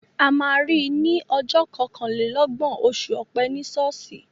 A ma ri ní ọjọ́ kọkànlélọ́gbọ̀n oṣù Ọ̀pẹ ní ṣọ́ọ̀ṣì.